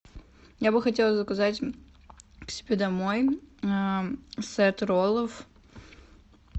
я бы хотела заказать к себе домой сет роллов